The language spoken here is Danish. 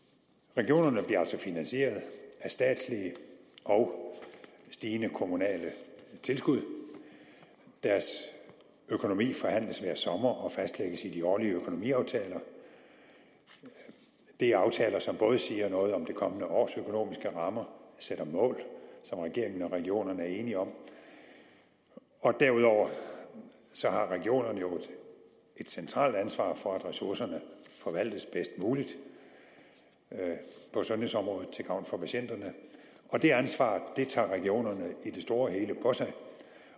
regionerne bliver altså finansieret af statslige og stigende kommunale tilskud deres økonomi forhandles hver sommer og fastlægges i de årlige økonomiaftaler det er aftaler som både siger noget om det kommende års økonomiske rammer sætter mål som regeringen og regionerne er enige om derudover så har regionerne et centralt ansvar for at ressourcerne forvaltes bedst muligt på sundhedsområdet til gavn for patienterne og det ansvar tager regionerne i det store